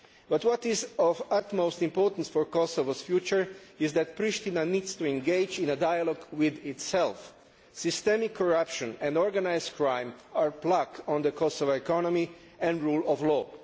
But what is of the utmost importance for Kosovo's future is that Priština needs to engage in a dialogue with itself. Systemic corruption and organised crime are a plague on the Kosovo economy and the rule of law.